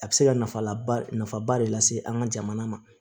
A bɛ se ka nafa laba nafaba de lase an ka jamana ma